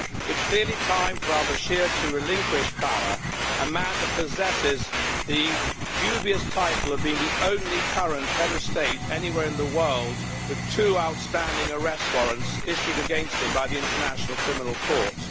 It's clearly time for al-Bashir to relinquish power, being a man that possesses the dubious title of being the only current head of state anywhere in the world with two outstanding arrest warrants issued against him by the International Criminal Court.